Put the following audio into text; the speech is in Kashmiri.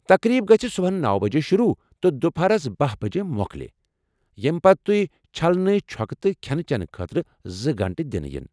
تقریٖب گژھ صُبحن نوَ بجے شروٗع تہٕ دپہرس باہ بجے مۄکلِہ، ییٚمہ پتہٕ تُہۍ چھلنہٕ چھۄکنہٕ تہٕ کھٮ۪نہ چٮ۪نہٕ خٲطرٕ زٕ گنٹہٕ دنہٕ یِن